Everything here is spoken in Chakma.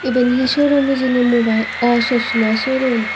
iben hi showroom hijeni mobai aw chochma showroom.